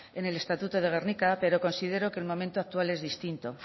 en el estatuto de gernika pero considero que el momento actual es distinto